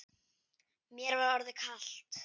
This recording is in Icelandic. Mér var orðið kalt.